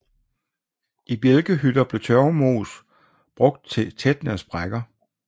I bjælkehytter blev tørvemos brugt til at tætne sprækker